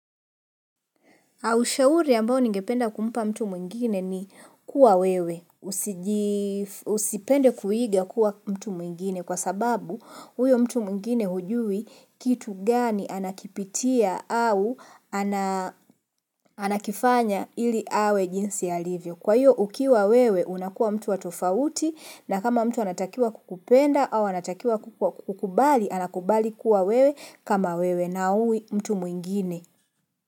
Aushauri ambao ningependa kumpa mtu mwengine ni kuwa wewe. Usipende kuiga kuwa mtu mwingine kwa sababu huyo mtu mwingine hujui kitu gani anakipitia au anakifanya ili awe jinsi alivyo. Kwa hiyo ukiwa wewe unakuwaa mtu wa tofauti na kama mtu anatakia kukupenda au anatakia kukubali anakubali kuwa wewe kama wewe na hui mtu mwingine.